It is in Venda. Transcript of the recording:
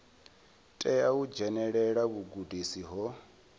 tea u dzhenelela vhugudisi ho